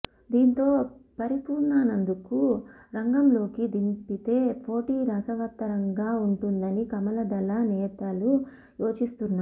దీంతో పరిపూర్ణానందను రంగంలోకి దింపితే పోటీ రసవత్తరంగా ఉంటుందని కమల దళ నేతలు యోచిస్తున్నారు